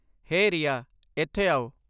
ਹੇ ਰੀਆ, ਇੱਥੇ ਆਓ।